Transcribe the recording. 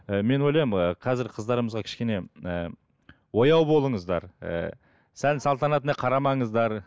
і мен ойлаймын ііі қазіргі қыздарымызға кішкене ііі ояу болыңыздар ііі сән салтанатына қарамаңыздар